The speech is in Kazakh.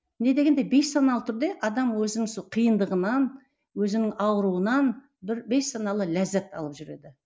не дегенде бейсаналы түрде адам өзінің сол қиындығынан өзінің ауруынан бір бейсаналы ләззат алып жүреді